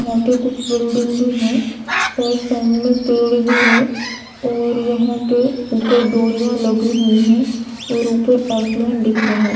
यहाँ पे कुछ बिल्डिंग भी है और सामने पेड़ भी है और यहाँ पे ऊपर डोरिया लगी हुई है और ऊपर आसमान दिख रहा--